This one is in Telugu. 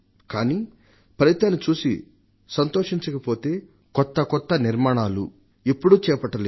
అయితే ఫలితాన్ని చూసి సంతోషించకపోతే కొత్తకొత్త నిర్మాణాలను ఎప్పుడూ చేపట్టలేరు